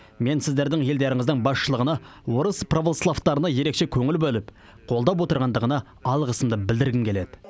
мен сіздердің елдеріңіздің басшылығына орыс православтарына ерекше көңіл бөліп қолдап отырғандығына алғысымды білдіргім келеді